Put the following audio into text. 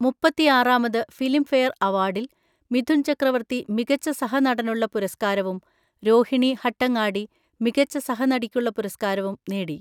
മുപ്പത്തിആറാമത് Filmfare അവാർഡിൽ മിഥുൻ ചക്രവർത്തി മികച്ച സഹനടനുള്ള പുരസ്‌കാരവും രോഹിണി ഹട്ടങ്ങാടി മികച്ച സഹനടിക്കുള്ള പുരസ്‌കാരവും നേടി.